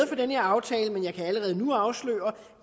for den her aftale men jeg kan allerede nu afsløre